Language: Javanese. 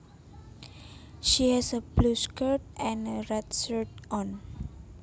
She has a blue skirt and a red shirt on